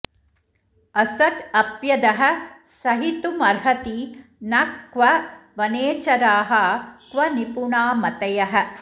असद् अप्यदः सहितुमर्हति नः क्व वनेचराः क्व निपुणा मतयः